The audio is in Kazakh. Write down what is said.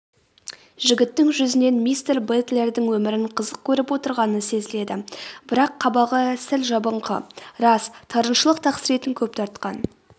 жігіттің жүзінен мистер бэтлердің өмірін қызық көріп отырғаны сезіледі бірақ қабағы сәл жабыңқы.рас тарыншылық тақсіретін көп тартқан